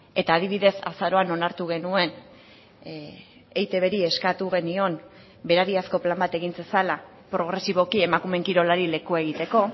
eta adibidez azaroan onartu genuen eitbri eskatu genion berariazko plan bat egin zezala progresiboki emakumeen kirolari lekua egiteko